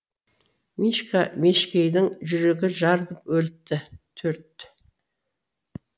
мишка мешкейдің жүрегі жарылып өліпті төрт